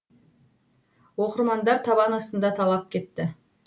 оқырмандар табан астында талап кетті